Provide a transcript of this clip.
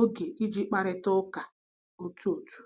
oge iji kparịta ụka otu otu.